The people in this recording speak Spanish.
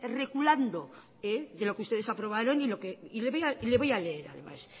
reculando de lo que ustedes aprobaron y le voy a leer además